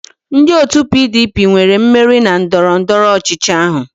Ndị otu PDP nwere mmeri na ndọrọndọrọ ọchịchị ahụ